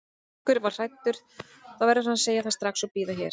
Ef einhver er hræddur þá verður hann að segja það strax og bíða hér.